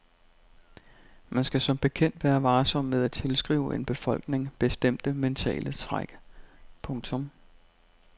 Man skal som bekendt være varsom med at tilskrive en befolkning bestemte mentale træk. punktum